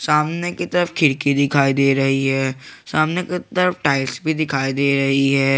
सामने की तरफ खिरकी दिखाई दे रही है सामने की तरफ टाइल्स भी दिखाई दे रही है।